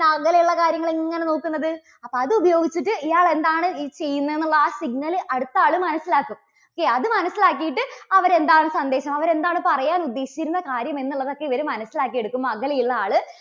അപ്പോൾ അത് ഉപയോഗിച്ചിട്ട് ഇയാൾ എന്താണ് ചെയ്യുന്നത് എന്നുള്ള ആ signal അടുത്താള് മനസ്സിലാക്കും. okay അതു മനസ്സിലാക്കിയിട്ട് അവര് എന്താണ് സന്ദേശം അവര് എന്താണ് പറയാൻ ഉദ്ദേശിച്ചിരുന്ന കാര്യം എന്നുള്ളതൊക്കെ ഇവര് മനസ്സിലാക്കി എടുക്കും അകലെയുള്ള ആള്